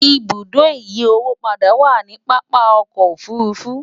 ibùdó ìyí owó padà wà nì pápá ọkọ òfurufú